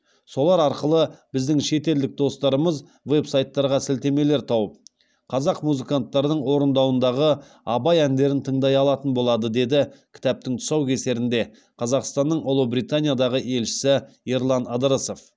солар арқылы біздің шетелдік достарымыз веб сайттарға сілтемелер тауып қазақ музыканттарының орындауындағы абай әндерін тыңдай алатын болады деді кітаптың тұсаукесерінде қазақстанның ұлыбританиядағы елшісі ерлан ыдырысов